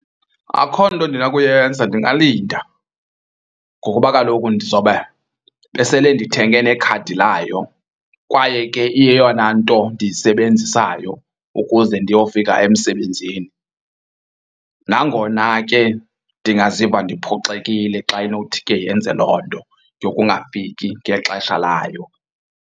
Akho nto ndinakuyenza ndingalinda ngokuba kaloku ndizobe besele ndithenge nekhadi layo kwaye ke iyeyona nto ndiyisebenzisayo ukuze ndiyofika emsebenzini. Nangona ke ndingaziva ndiphoxekile xa inothi ke yenze loo nto yokungafiki ngexesha layo.